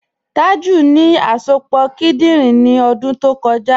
Tàjú ní àsọpọ̀ kìdìnrín ní ọ̀dún tó kọ̀jà.